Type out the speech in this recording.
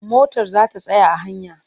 Motar za ta tsaya a hanya.